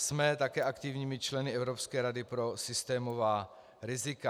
Jsme také aktivními členy Evropské rady pro systémová rizika.